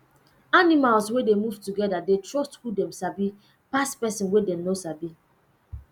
animals wey dey move together dey trust who dem sabi pass person wey dem no sabi